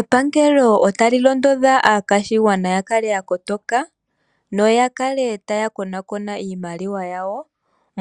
Epangelo otali londodha aakwashigwana ya kale ya kotoka, noya kale taya konaakona iimaliwa yawo,